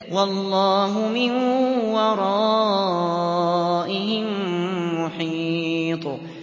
وَاللَّهُ مِن وَرَائِهِم مُّحِيطٌ